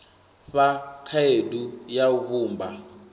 fha khaedu ya u vhumba